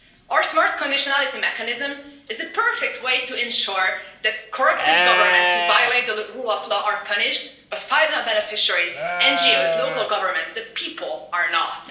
Our Smart Conditionality Mechanism is a perfect way to ensure that corrupted governments who violate the rule of law are punished but final beneficiaries NGOs, local governments, the people are not.